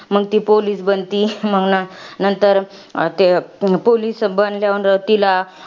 मंग ती police बनती. मंग नंतर, ते police बनल्यानंतर तिला